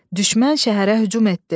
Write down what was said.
Düşmən şəhərə hücum etdi.